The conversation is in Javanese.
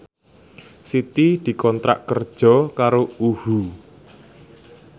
Siti dikontrak kerja karo UHU